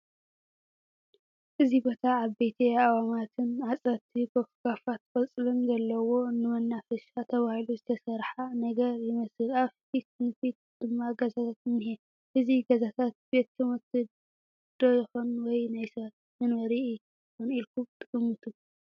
እዚ ቦታ ዓበይቲ ኣእዋማትን ሓፀርቲ ጎፍጋፋት ቆፅሊን ዘለዎ ንመናፈሻ ተባሂሉ ዝተሰርሓ ነገር ይመስል ኣብ ፊት ንፊቱ ድማ ገዛታት እንሄ እቲ ገዛታት ቤት ት/ቲ ዶ ይኾንስ ወይ ናይ ሰባት መንፈሪ ይኸን ኢልኩም ትግምቱ ?